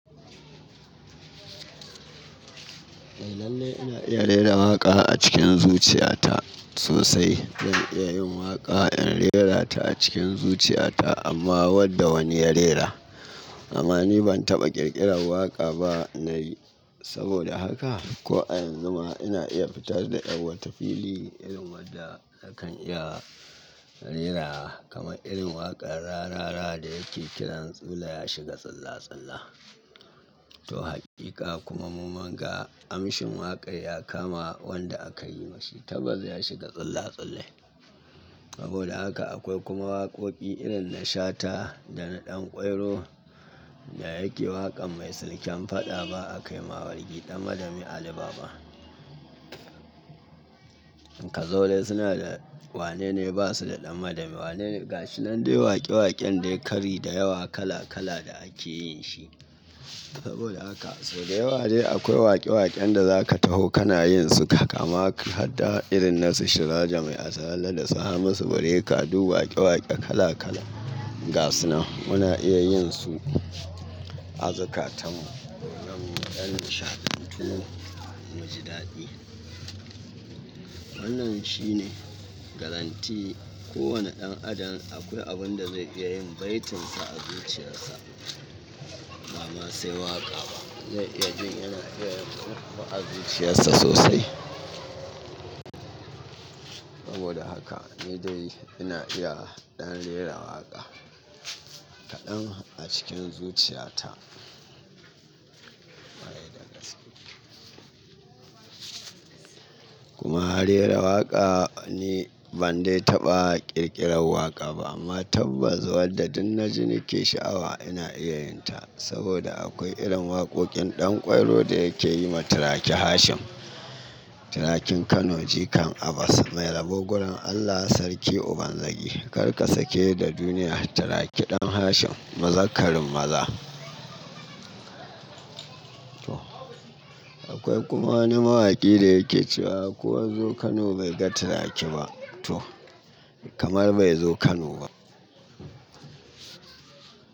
Eh lalle ina iya rera waƙa a cikin zuciya ta sosai. Zan iya yin waƙa in rera ta a cikin zuciya ta amma wadda wani ya rera. Amma ni ban taɓa ƙirƙirar waƙa ba na yi, saboda haka. Ko a yanzu ma ina iya fitar da yar wata iri, irin wadda akan iya rera kamar irin waƙar Rarara da yake kiran tsula ya shiga tsalla-tsalla. To haƙiƙa kuma mu munga amshin waƙar ya kama wanda aka yi ma shi, tabbas ya shiga tsalla-tsalle. Saboda haka akwai kuma waƙoƙi irin na Shata da na Ɗanƙwairo da yake waƙan mai silken fada ba a kai ma wargi ɗan madami Ali Baba. Kazo dai suna da wane ne ba su da ɗan madami. Wane ne ga shi nan dai waƙe-waƙen dai kari da yawa kala-kala da ake yin shi. Saboda haka so dai wa dai akwai waƙe-waƙen da zaka taho kana yin su kama ka har da irin na su Surajo Maiasala da su Hamisu breaker duk waƙe-waƙe kala-kala. Ga su nan muna iya yin su azikatan mu don mu ɗan nishaɗantu mu ji daɗi. Hannun shi ne garanti ko wane ɗan adam akwai abun da zai iya yin baitinsa a zuciyarsa. Ba ma sai waƙa ba, zai iya jin irin waƙa a zuciyarsa sosai. Saboda haka ni dai ina iya ɗan rera waƙa kaɗan a cikin zuciya ta. Kuma a rera waƙa ni ban dai taɓa ƙirƙirar waƙa ba amma tabbas wadda duk na ji nake sha'awa ina iya yin ta saboda akwai irin waƙoƙin Ɗanƙwairo da yake yi ma Turaki Hashim. Turakin Kano jikan Abbas mai rabo gurin Allah sarki uban zagi. Kar ka sake da duniya Turaki ɗan Hashim maza karin maza. To akwai kuma wani mawaƙi da yake cewa ko wa yazo Kano bai ga Turaki ba to kamar bai zo Kano ba.